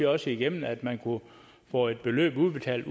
også igennem at man kunne få et beløb udbetalt